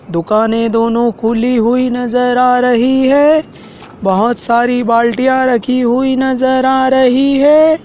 दुकानें दोनों खुली हुई नजर आ रही है बहुत सारी बाल्टियां रखी हुई नजर आ रही है।